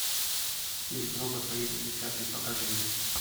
фильм робот по имени чаппи покажи мне